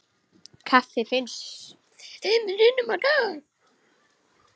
Kaffi fimm sinnum á dag.